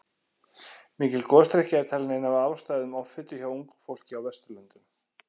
Mikil gosdrykkja er talin ein af ástæðum offitu hjá ungu fólki á Vesturlöndum.